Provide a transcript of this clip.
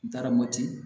N taara mopti